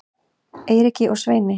Eiríki og Sveini